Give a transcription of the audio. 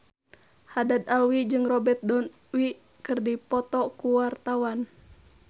Haddad Alwi jeung Robert Downey keur dipoto ku wartawan